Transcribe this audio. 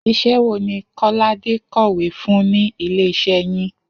Is̩é̩ wo ni Kó̩ládé kò̩wé fún ní ilé-is̩é̩ yín?